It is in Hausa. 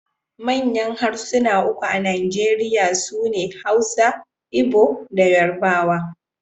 Manyan harsuna uku a Najeriya su ne Hausa, Igbo da Yarbawa.